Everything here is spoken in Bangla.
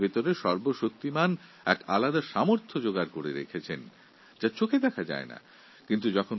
ঈশ্বর তাঁর মধ্যে এক বিশেষ শক্তি দিয়েছেন যা আমাদের চোখে ধরা পরে না